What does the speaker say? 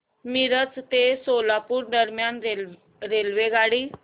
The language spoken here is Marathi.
मिरज ते सोलापूर दरम्यान रेल्वेगाडी